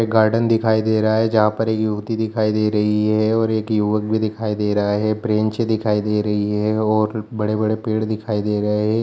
एक गार्डन दिखाई दे रहा है जहां पर युवती दिखाई दे रही हैऔर एक युवक भी दिखाई दे रहा है ब्रेंच दिखाई दे रही हैऔर बड़े-बड़े पेड़ दिखाई दे रहे है।